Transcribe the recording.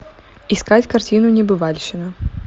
искать картину небывальщина